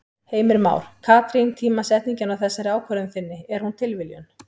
Heimir Már: Katrín tímasetningin á þessari ákvörðun þinni, er hún tilviljun?